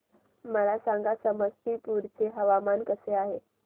मला सांगा समस्तीपुर चे हवामान कसे आहे